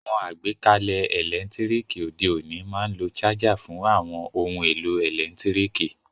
Àwon àgbékalẹ̀ ẹ́lẹ̀ntirikì òde ọ̀ní ma n lo charger fun àwon oun èlò ẹ́lẹ̀ntirikì